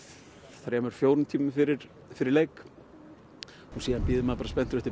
þremur fjórum tímum fyrir fyrir leik síðan bíður maður bara spenntur eftir